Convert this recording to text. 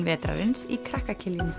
vetrarins í krakka